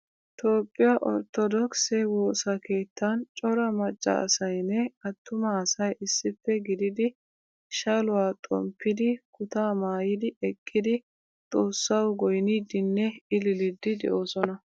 Toophphiyaa orttodokise woosaa keettan cora macca asaynne attumaa asay issippe gididi shaluwaa xomppidi kuta maayidi eqqidi xoossawu goynidinne ililidi deosona.